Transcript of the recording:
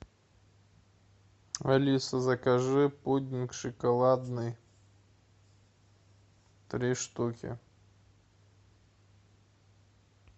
алиса закажи пудинг шоколадный три штуки